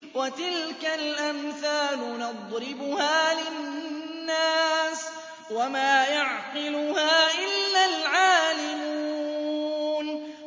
وَتِلْكَ الْأَمْثَالُ نَضْرِبُهَا لِلنَّاسِ ۖ وَمَا يَعْقِلُهَا إِلَّا الْعَالِمُونَ